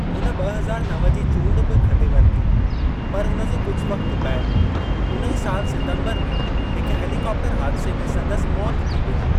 हुन ॿ हज़ार नव जी चूंड बि खटे वरिती, पर हुन जे कुझु वक़्तु बैदि उन ई साल सितंबर में हिकु हेलीकॉप्टर हादिसे में संदसि मौति थी वियो।